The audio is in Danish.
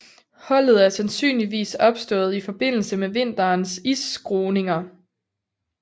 Hullet er sandsynligvis opstået i forbindelse med vinterens isskruninger